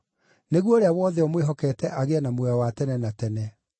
nĩguo ũrĩa wothe ũmwĩhokete agĩe na muoyo wa tene na tene.